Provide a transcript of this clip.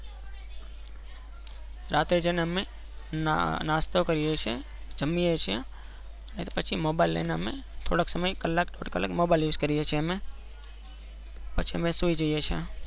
રાતે જૈન અમે જયીને અમે નાસ્તોકરીએ છીએ જમીએ છીએ અને પછી mobile લઇ ને અમે થોડાક સમય કલાક સુધી mobile used કરીએ છીએ ને પછી અમે સૂય જૈયે છીએ અમે.